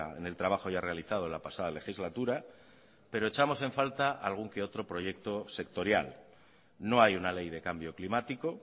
en el trabajo ya realizado en la pasada legislatura pero echamos en falta algún que otro proyecto sectorial no hay una ley de cambio climático